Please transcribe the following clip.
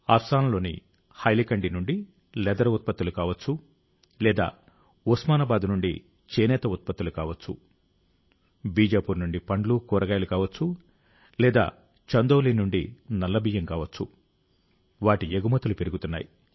అస్సాంలోని హైలకండి నుండి లెదర్ ఉత్పత్తులు కావచ్చు లేదా ఉస్మానాబాద్ నుండి చేనేత ఉత్పత్తులు కావచ్చు బీజాపూర్ నుండి పండ్లు కూరగాయలు కావచ్చు లేదా చందౌలీ నుండి నల్ల బియ్యం కావచ్చు వాటి ఎగుమతులు పెరుగుతున్నాయి